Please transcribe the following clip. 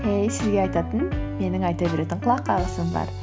эй сізге айтатын менің айта беретін құлақ қағысым бар